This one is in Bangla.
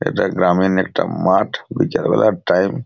এটা গ্রামীণ একটা মাঠ। বিকালবেলায় টাইম ।